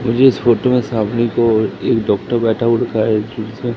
मुझे इस फोटो में सामने को एक डॉक्टर बैठा हुआ दिख रहा है एक छोटा सा--